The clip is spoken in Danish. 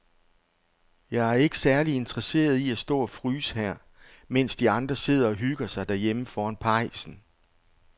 Jeg er ikke særlig interesseret i at stå og fryse her, mens de andre sidder og hygger sig derhjemme foran pejsen.